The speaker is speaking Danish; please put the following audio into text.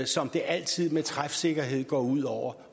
som det altid med træfsikkerhed går ud over